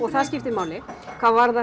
það skiptir máli hvað varðar